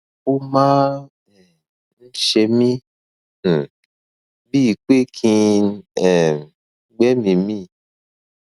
ó máa um ń ṣe mí um bíi pé kí n um gbẹmìí mì